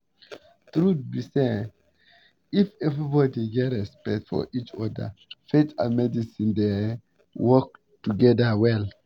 truth be say um if everybody get respect for each other faith and medicine dey um work together well